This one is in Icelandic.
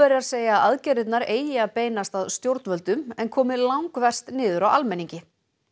segja að aðgerðirnar eigi að beinast að stjórnvöldum en komi langverst niður á almenningi